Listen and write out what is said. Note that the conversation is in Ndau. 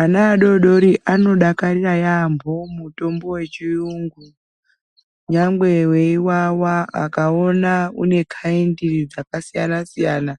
Ana adodori anodakarira yambo mutombo wechiyungu nyangwe weiwawa akaona unekaindi dzakasiyana siyana